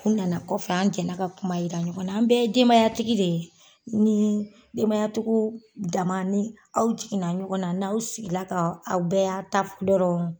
U nana kɔfɛ an jɛnna ka kuma yira ɲɔgɔn na an bɛɛ ye denbaya tigi de ye ni denbaya dama ni aw jiginna ɲɔgɔnna n'aw sigila ka aw bɛɛ y'a' ta fɔ dɔrɔn